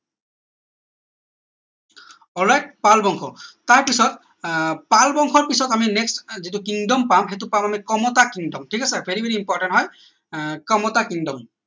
all right Pal বংশ তাৰ পিছত আহ পাল বংশৰ পিছত আমি next যিটো kingdom পাম সেইটো পাম আমি কমতা kingdom ঠিক আছে vary vary important হয় আহ কমতা kingdom